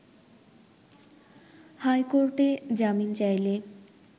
high কোর্টে জামিন চাইলে